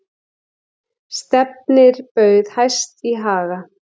Stefnir bauð hæst í Haga